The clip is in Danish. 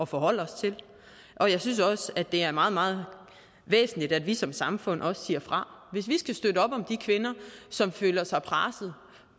forholde os til og jeg synes også at det er meget meget væsentligt at vi som samfund siger fra hvis vi skal støtte op om de kvinder som føler sig presset